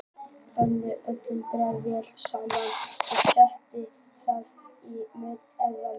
Blandið öllu grænmetinu vel saman og setjið það í smurt eldfast mót.